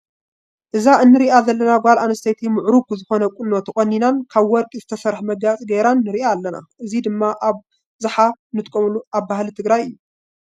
እዛ እንሪኣ ዘለና ጓል ኣንስተይቲ ምዑሩግ ዝኮነ ቁኖ ተቆኒናን ካብ ወርቂ ዝተሰርሐ መጋየፂ ጌራን ንሪኣ ኣለና። እዚ ድማ ኣብዝሓ እንጥቀመሉ ኣብ ባህሊ ትግራይ እዩ።